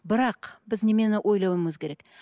бірақ біз неменені ойлауымыз керек